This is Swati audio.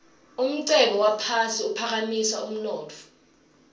umcebo waphasi uphakamisa umnotfo